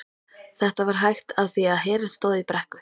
Þetta var hægt af því að hverinn stóð í brekku.